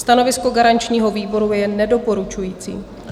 Stanovisko garančního výboru je nedoporučující.